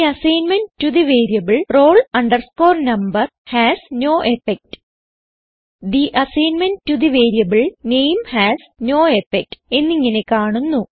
the assignment to the variable roll number has no effect the assignment to the variable name has no effect എന്നിങ്ങനെ കാണുന്നു